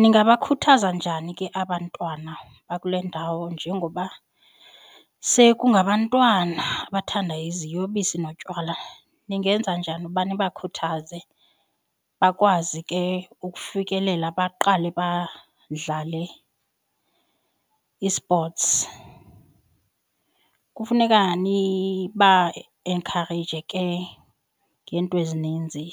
Ningabakhuthaza njani ke abantwana bakule ndawo njengoba sekungabantwana abathanda iziyobisi notywala. Ningenza njani uba nibakhuthaze bakwazi ke ukufikelela baqale badlale i-sports? Kufuneka niba enkhareyije ke ngeento ezininzi